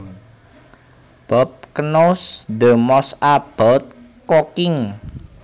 Bob knows the most about cooking